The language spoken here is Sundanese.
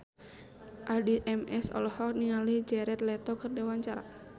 Addie MS olohok ningali Jared Leto keur diwawancara